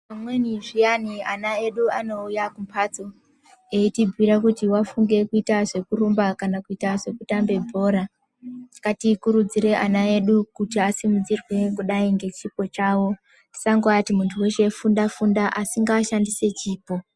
Amweni zviyani ana edu anouya kumhatso eitibhuyira kuti vafunge kuita zvekurumba kana kutambe bhora. Ngatikurudzire ana edu kuti asimudzirwe kudai ngechipo chawo, tisangoati muntu weshe funda funda asingashandisi chipo.